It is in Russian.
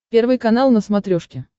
первый канал на смотрешке